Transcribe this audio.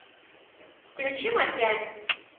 включи масяня